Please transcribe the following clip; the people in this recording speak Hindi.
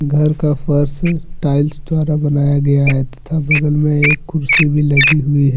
घर का फर्श टाइल्स द्वारा बनाया गया है तथा बगल में एक कुर्सी भी लगी हुई --